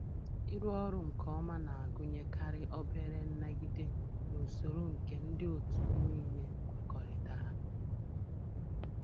Ịrụ ọrụ nke ọma na-agụnyekarị obere nnagide n' usoro nke ndị otu m niile kwekọrịtara.